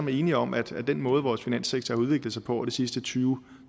er enige om at den måde vores finanssektor har udviklet sig på over de sidste tyve